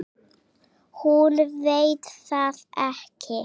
Hún veit það ekki.